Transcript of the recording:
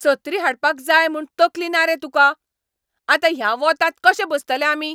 सत्री हाडपाक जाय म्हूण तकली ना रे तुका? आतां ह्या वोतांत कशें बसतले आमी?